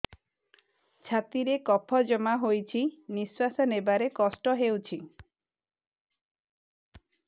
ଛାତିରେ କଫ ଜମା ହୋଇଛି ନିଶ୍ୱାସ ନେବାରେ କଷ୍ଟ ହେଉଛି